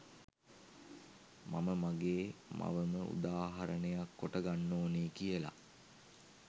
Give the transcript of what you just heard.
මම මගේ මවම උදාහරණයක් කොට ගන්න ඕන කියලා.